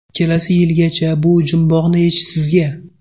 Kelasi yilgacha bu jumboqni yechish sizga.